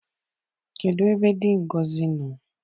Kedụ ebe dị Ngozi nọ?